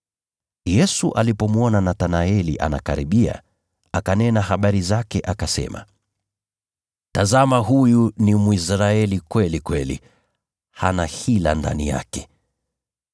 Yesu alipomwona Nathanaeli anakaribia, akanena habari zake akasema, “Tazama huyu ni Mwisraeli kweli kweli; hana hila ndani yake.”